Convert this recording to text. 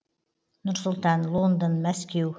нұр сұлтан лондон мәскеу